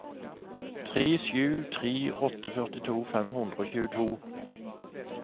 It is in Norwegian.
tre sju tre åtte førtito fem hundre og tjueto